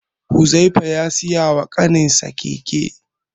Huzaifa ya siya wa kaninsa keke.